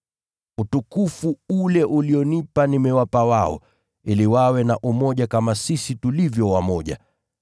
Utukufu ule ulionipa nimewapa wao, ili wawe na umoja kama sisi tulivyo wamoja.